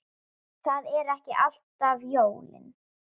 Það eru ekki alltaf jólin.